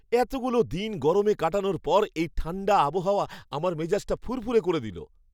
এতগুলো দিন গরমে কাটানোর পর, এই ঠাণ্ডা আবহাওয়া আমার মেজাজটা ফুরফুরে করে দিল।